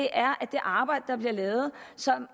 er at det arbejde der bliver lavet